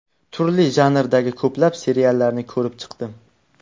Turli janrdagi ko‘plab seriallarni ko‘rib chiqdim.